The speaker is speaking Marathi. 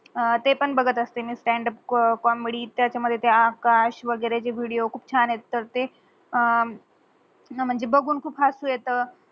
ते पण बगत असते स्टांड अप कॉमेडी त्याच मधे ते आकाश वगेरे ते विडीयो खूप छान येतात ते म्हंजे